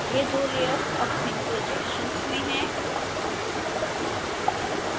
ये दो layers अब भिन्न projections में हैं